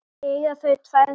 Eiga þau tvær dætur.